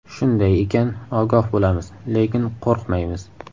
Shunday ekan, ogoh bo‘lamiz, lekin qo‘rqmaymiz.